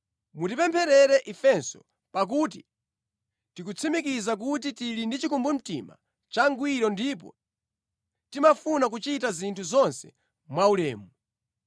Mutipempherere ifenso. Pakuti tikutsimikiza kuti tili ndi chikumbumtima changwiro ndipo timafuna kuchita zinthu zonse mwaulemu.